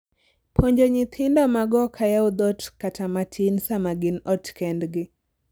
puonjo nyithindo magOk ayaw dhoot kata matin sama gin ot kendgi